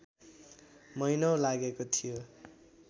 महिनौँ लागेको थियो